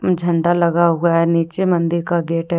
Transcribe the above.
झंडा लगा हुआ है नीचे मंदिर का गेट है।